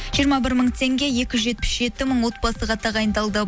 жиырма бір мың теңге екі жүз жетпіс жеті мың отбасыға тағайындалды